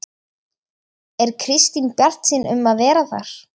Er Kristín bjartsýn um að vera þar?